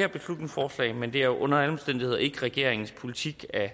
her beslutningsforslag men det er under alle omstændigheder ikke regeringens politik at